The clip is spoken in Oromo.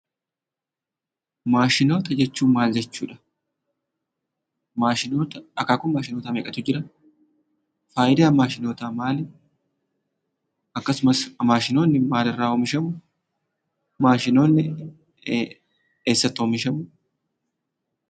Maashinoota jechuun maal jechuudha? Akaakuu Maashinootaa meeqatu jira? Faayidaan maashinootaa maali? Akkasumas maashinoonni maalirraa oomishamu? Maashinoonni eessatti oomishamu?